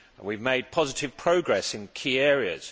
We have made positive progress in key areas.